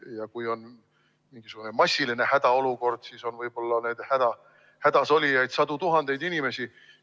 Ja kui on mingisugune massiline hädaolukord, siis on võib-olla neid hädas olijaid sadu tuhandeid inimesi.